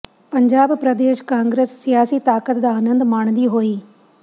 ਪੰਜਾਬ ਪ੍ਰਦੇਸ਼ ਕਾਂਗਰਸ ਸਿਆਸੀ ਤਾਕਤ ਦਾ ਆਨੰਦ ਮਾਣਦੀ ਹੋਈ